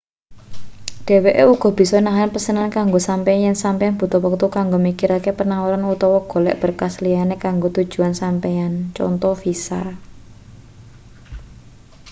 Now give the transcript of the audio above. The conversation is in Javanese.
dheweke uga bisa nahan pesenan kanggo sampeyan yen sampeyan butuh wektu kanggo mikirake panawaran utawa golek berkas liyane kanggo tujuan sampeyan conto visa